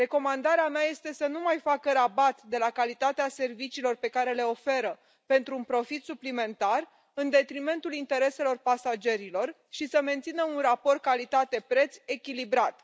Recomandarea mea este să nu mai facă rabat de la calitatea serviciilor pe care le oferă pentru un profit suplimentar în detrimentul intereselor pasagerilor și să mențină un raport calitate preț echilibrat.